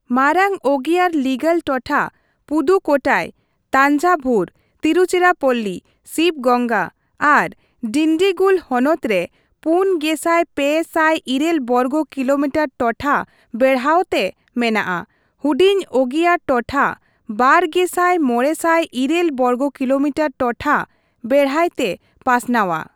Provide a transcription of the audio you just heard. ᱢᱟᱨᱟᱝ ᱚᱜᱤᱭᱟᱨ ᱞᱤᱜᱟᱞ ᱴᱚᱴᱷᱟ ᱯᱩᱫᱩᱠᱳᱴᱟᱭ, ᱛᱟᱧᱡᱟᱵᱷᱩᱨ, ᱛᱤᱨᱩᱪᱤᱨᱟᱯᱚᱞᱞᱤ, ᱥᱤᱵᱜᱚᱝᱜᱟ ᱟᱨ ᱰᱤᱱᱰᱤᱜᱩᱞ ᱦᱚᱱᱚᱛ ᱨᱮ ᱯᱩᱱ ᱜᱮᱥᱟᱭ ᱯᱮ ᱥᱟᱭ ᱤᱨᱟᱹᱞ ᱵᱚᱨᱜᱚ ᱠᱤᱞᱳᱢᱤᱴᱟᱨ ᱴᱚᱴᱷᱟ ᱵᱮᱲᱦᱟᱣᱛᱮ ᱢᱮᱱᱟᱜᱼᱟ, ᱦᱩᱰᱤᱧ ᱚᱜᱤᱭᱟᱨ ᱴᱚᱴᱷᱟ ᱵᱟᱨ ᱜᱮᱥᱟᱭ ᱢᱚᱬᱮ ᱥᱟᱭ ᱤᱨᱟᱹᱞ ᱵᱚᱨᱜᱚ ᱠᱤᱞᱳᱢᱤᱴᱟᱨ ᱴᱚᱴᱷᱟ ᱵᱮᱲᱦᱟᱭᱛᱮ ᱯᱟᱥᱱᱟᱣᱟ ᱾